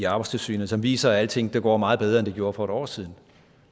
arbejdstilsynet som viser at alting går meget bedre end det gjorde for et år siden